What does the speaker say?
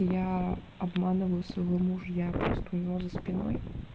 я обманываю своего мужа я просто у него за спиной